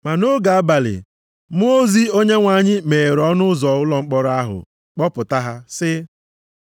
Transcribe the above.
Ma nʼoge abalị mmụọ ozi Onyenwe anyị meghere ọnụ ụzọ ụlọ mkpọrọ ahụ kpọpụta ha sị,